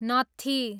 नत्थी